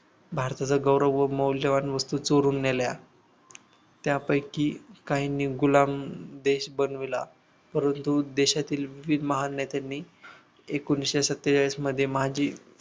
भारताचा गौरव व मौल्यवान वस्तू चोरून नेल्या त्यापैकी काहींनी गुलाम देश बनविला परंतु देशातील महान नेत्यांनी एकोणविशे सत्तेचाळीस मध्ये माझे